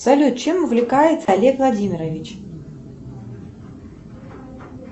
салют чем увлекается олег владимирович